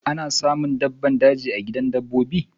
Ana samun dabbban daji a gidan dabbobi.